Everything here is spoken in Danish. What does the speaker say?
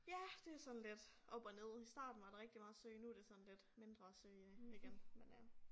Ja det jo sådan lidt op og ned i starten var der rigtig meget søge nu det sådan lidt mindre søge igen men øh